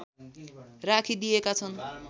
राखिदिएका छन्